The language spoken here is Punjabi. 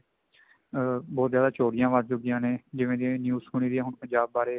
ਅਮ ਬਹੁਤ ਜਿਆਦਾ ਚੋਰੀਆਂ ਵਧ ਚੁੱਕੀਆਂ ਨੇ ਜਿਵੇਂ ਕੇ ਹੁਣ news ਸੁਣੀ ਦੀ ਆ ਪੰਜਾਬ ਬਾਰੇ